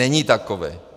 Není takový!